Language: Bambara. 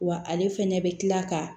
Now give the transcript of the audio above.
Wa ale fɛnɛ bɛ kila ka